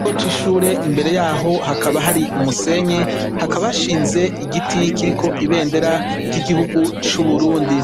Ikigo c'ishure imbere yaho hakaba hari umusenyi hakaba hashinze igiti kiriko ibendera ry'igihugu cu Burundi